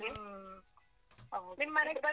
ಹು. ಹ okay . ನಿಮ್ಮನೆಗೆ.